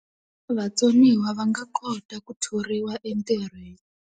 Vatsoniwa va nga kota ku thoriwa entirhweni.